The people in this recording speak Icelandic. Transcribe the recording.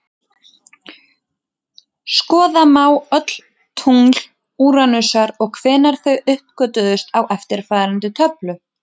Skoða má öll tungl Úranusar og hvenær þau uppgötvuðust í eftirfarandi töflu: